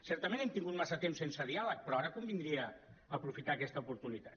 certament hem tingut massa temps sense diàleg però ara convindria aprofitar aquesta oportunitat